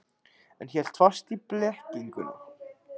En hélt fast í blekkinguna.